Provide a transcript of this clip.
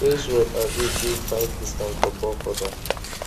sales rep agree give five discount for bulk order